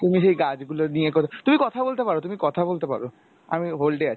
তুমি সেই গাছ গুলো নিয়ে কর তুমি কথা বলতে পারো তুমি কথা বলতে পারো আমি hold এ আছি